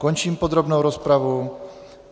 Končím podrobnou rozpravu.